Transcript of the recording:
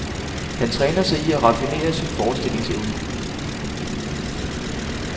Han træner sig i at raffinere sin forestillingsevne.